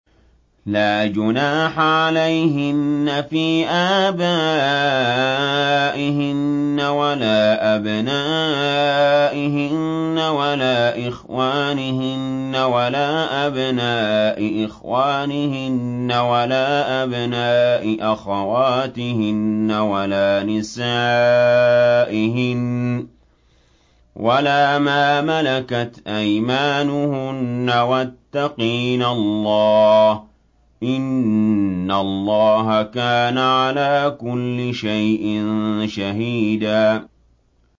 لَّا جُنَاحَ عَلَيْهِنَّ فِي آبَائِهِنَّ وَلَا أَبْنَائِهِنَّ وَلَا إِخْوَانِهِنَّ وَلَا أَبْنَاءِ إِخْوَانِهِنَّ وَلَا أَبْنَاءِ أَخَوَاتِهِنَّ وَلَا نِسَائِهِنَّ وَلَا مَا مَلَكَتْ أَيْمَانُهُنَّ ۗ وَاتَّقِينَ اللَّهَ ۚ إِنَّ اللَّهَ كَانَ عَلَىٰ كُلِّ شَيْءٍ شَهِيدًا